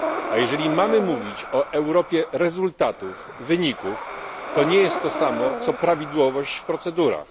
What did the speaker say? A jeżeli mamy mówić o Europie rezultatów, wyników, to nie jest to samo, co prawidłowość w procedurach.